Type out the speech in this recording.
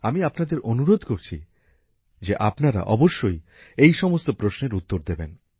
আমি আপনাদের অনুরোধ করছি যে আপনারা অবশ্যই এই সমস্ত প্রশ্নের উত্তর দেবেন